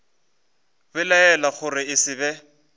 belaela gore e se be